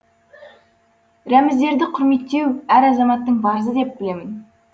рәміздерді құрметтеу әр азаматтың парызы деп білемін